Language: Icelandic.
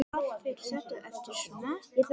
Allt fer þetta eftir smekk.